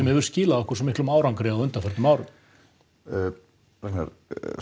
hefur skilað okkur svo miklum árangri á undanförnum árum Ragnar